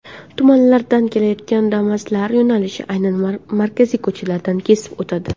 Tumanlardan kelayotgan Damas’lar yo‘nalishi aynan markaziy ko‘chalardan kesib o‘tadi.